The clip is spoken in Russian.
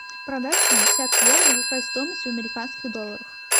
продать пятьдесят евро какая стоимость в американских долларах